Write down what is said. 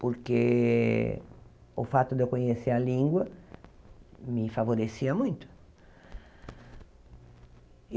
porque o fato de eu conhecer a língua me favorecia muito.